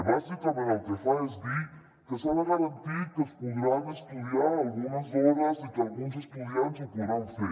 bàsicament el que fa és dir que s’ha de garantir que es podran estudiar algunes hores i que alguns estudiants ho poden fer